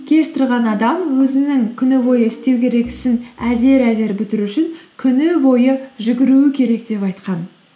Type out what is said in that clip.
кеш тұрған адам өзінің күні бойы істеу керек ісін әзер әзер бітіру үшін күні бойы жүгіруі керек деп айтқан